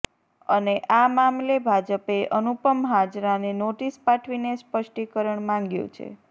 અને આ મામલે ભાજપે અનુપમ હાજરાને નોટીસ પાઠવીને સ્પષ્ટીકરણ માંગ્યું છે